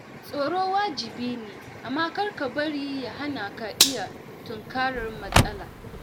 Tsoro wajibi ne, amma kar ka bari ya hana ka iya tunkarar matsala